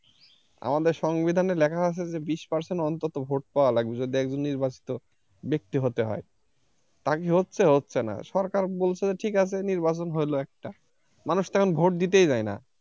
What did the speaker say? আমাদের সংবিধানে লেখা আছে যে বিশ percent অন্তত vote পাওয়া লাগবে যদি একজন নির্বাচিত ব্যক্তি হতে হয় তা কি হচ্ছে? হচ্ছে না সরকার বলছে যে ঠিক আছে নির্বাচন হইল একটা মানুষ তো এখন vote দিতে যায় না।